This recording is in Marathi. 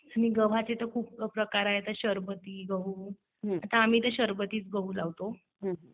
आणि गव्हाचे तर खूप प्रकार आहेत. शर्बती गहू, आता आम्ही तर शर्बतीच गहू लावतो.